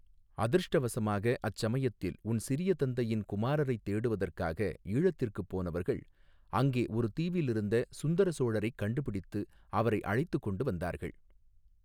அதிர்ஷ்டவசமாக அச்சமயத்தில் உன் சிறிய தந்தையின் குமாரரைத் தேடுவதற்காக ஈழத்திற்குப் போனவர்கள், அங்கே ஒரு தீவிலிருந்த சுந்தர சோழரைக் கண்டுபிடித்து, அவரை அழைத்துக் கொண்டு வந்தார்கள்.